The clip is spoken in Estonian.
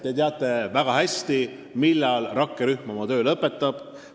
" Te teate väga hästi, millal rakkerühm oma töö lõpetab.